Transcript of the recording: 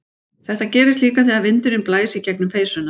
Þetta gerist líka þegar vindur blæs gegnum peysuna.